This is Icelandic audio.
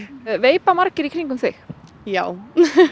veipa margir í kringum þig já